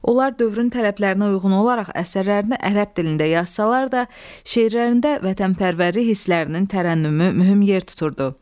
Onlar dövrün tələblərinə uyğun olaraq əsərlərini ərəb dilində yazsalar da, şeirlərində vətənpərvərlik hisslərinin tərənnümü mühüm yer tuturdu.